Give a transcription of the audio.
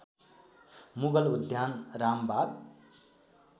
मुगल उद्यान रामबाग